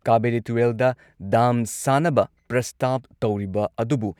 ꯀꯥꯕꯦꯔꯤ ꯇꯨꯔꯦꯜꯗ ꯗꯥꯝ ꯁꯥꯅꯕ ꯄ꯭ꯔꯁꯇꯥꯕ ꯇꯧꯔꯤꯕ ꯑꯗꯨꯕꯨ